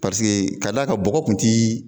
ka d'a ka bɔgɔ tun ti